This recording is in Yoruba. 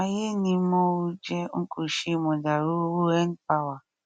ayé ni mọọ ò jẹ n kó ṣe mọdàrú owó n power